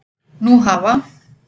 Nú hafa